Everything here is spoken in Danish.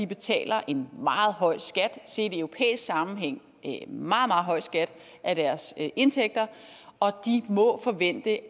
betaler en meget høj skat set i europæisk sammenhæng en meget høj skat af deres indtægter og de må forvente at